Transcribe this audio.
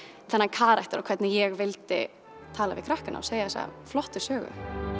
þennan karakter og hvernig ég vildi tala við krakkana og segja þessa flottu sögu